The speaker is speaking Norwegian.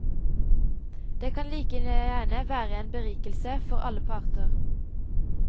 Det kan like gjerne være en berikelse for alle parter.